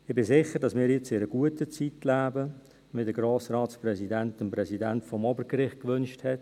Ich bin sicher, dass wir jetzt in einer guten Zeit leben, wie der Grossratspräsident sie dem Präsidenten des Obergerichts gewünscht hat.